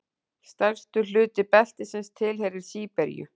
Stærstur hluti beltisins tilheyrir Síberíu.